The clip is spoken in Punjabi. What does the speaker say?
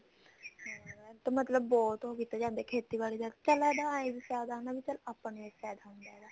ਇਹ ਤਾਂ ਬਹੁਤ ਕੀਤਾ ਜਾਂਦਾ ਖੇਤੀਬਾੜੀ ਦਾ ਪਹਿਲਾ ਚੱਲ ਇਹ ਵੀ ਫਾਇਦਾ ਚੱਲ ਆਪਾਂ ਨੂੰ ਫਾਇਦਾ ਹੁੰਦਾ ਇਹਦਾ